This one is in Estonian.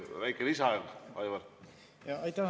Kas väike lisaaeg ka, Aivar?